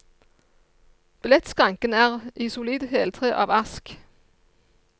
Billettskranken er i solid heltre av ask.